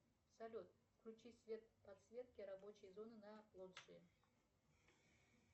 салют включи свет подсветки рабочей зоны на лоджии